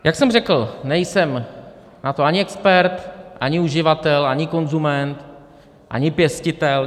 Jak jsem řekl, nejsem na to ani expert, ani uživatel, ani konzument, ani pěstitel.